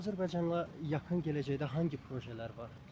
Azərbaycanda yaxın gələcəkdə hansı projelər var?